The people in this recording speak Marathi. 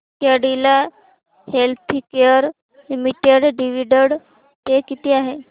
Cadila healthcare limited dividend pay किती आहे